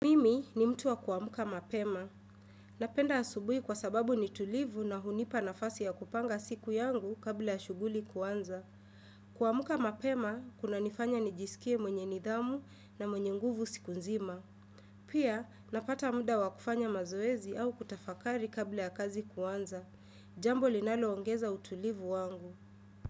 Mimi ni mtu wa kuamuka mapema. Napenda asubui kwa sababu ni tulivu na hunipa nafasi ya kupanga siku yangu kabla ya shuguli kuanza. Kuamuka mapema, kuna nifanya ni jisikie mwenye nidhamu na mwenye nguvu siku nzima. Pia, napata muda wa kufanya mazoezi au kutafakari kabla ya kazi kuanza. Jambo linalo ongeza utulivu wangu.